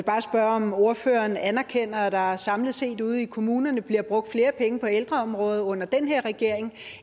bare spørge om ordføreren anerkender at der samlet set ude i kommunerne bliver brugt flere penge på ældreområdet under den her regering